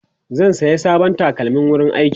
zai saya sabon takalmin wurin aiki